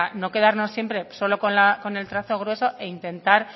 no quedarnos siempre solo con el trazo grueso e intentar